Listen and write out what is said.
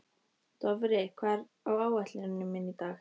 Dofri, hvað er á áætluninni minni í dag?